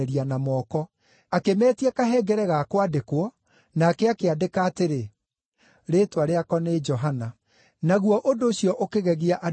Akĩmeetia kahengere ga kwandĩkwo, nake akĩandĩka atĩrĩ, “Rĩĩtwa rĩako nĩ Johana.” Naguo ũndũ ũcio ũkĩgegia andũ othe.